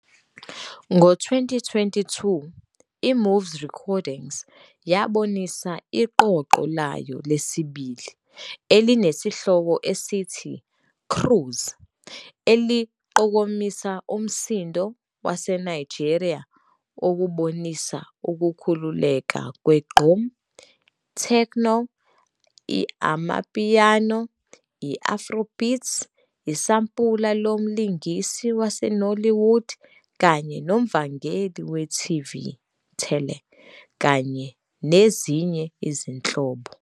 Ngo-2022, i-MOVES Recordings yabonisa iqoqo layo lesibili, elinesihloko esithi "Cruise", eliqokomisa umsindo waseNigeria, okubonisa ukukhululeka kwe-gqom, i-techno, i-amapiano, i-afrobeats, isampula lomlingisi waseNollywood kanye noMvangeli we-TV-tele kanye nezinye izinhlobo.